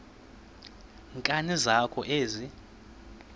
nkani zakho ezi